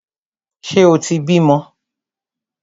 Ṣe o tí bímọ?